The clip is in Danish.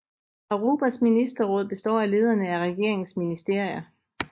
Arubas Ministerråd består af lederne af regeringens ministerier